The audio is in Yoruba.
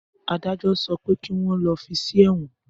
Adájọ́ sọ pé kí wọn lọ fí sí èwọn!